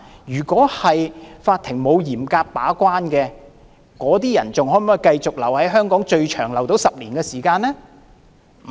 如果法庭沒有嚴格把關，這些人可否繼續留在香港，最長更達到10年時間？